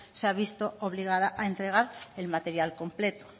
se ha visto obligada a entregar el material completo